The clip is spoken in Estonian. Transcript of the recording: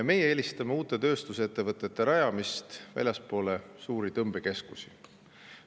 Meie eelistame uute tööstusettevõtete rajamist väljapoole suuri tõmbekeskusi.